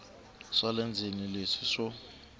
swa le ndzeni leswi swo